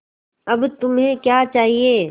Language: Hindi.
अब तुम्हें क्या चाहिए